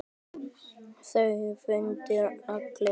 Það fundu allir.